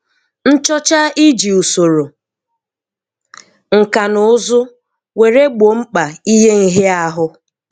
Nchọ́chá-Íjì ùsòrò ṅká nà ụ́zụ́ wèré gbòó mkpà ïhé nhíááhụ